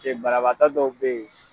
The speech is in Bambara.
Se banabatɔ dɔw be ye